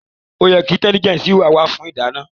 Ó yẹ ki AI intelligence wa fún ìdáná